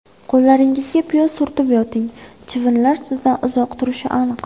Qo‘llaringizga piyoz surtib yoting: chivinlar sizdan uzoq turishi aniq.